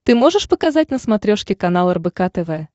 ты можешь показать на смотрешке канал рбк тв